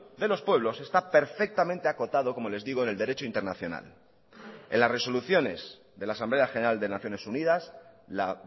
de los pueblos está perfectamente acotado como les digo en el derecho internacional en las resoluciones de la asamblea general de naciones unidas la